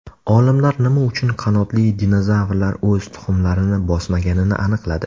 Olimlar nima uchun qanotli dinozavrlar o‘z tuxumlarini bosmaganini aniqladi.